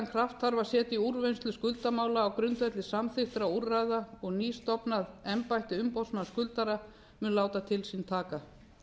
kraft þarf að setja í úrvinnslu skuldamála á grundvelli samþykktra úrræða og nýstofnað embætti umboðsmanns skuldara mun láta til sín taka